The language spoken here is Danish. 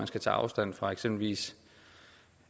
skal tage afstand fra eksempelvis